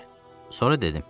Sonra dedim.